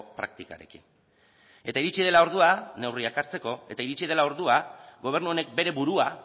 praktikarekin eta iritsi dela ordua neurriak hartzeko eta iritsi dela ordua gobernu honek bere burua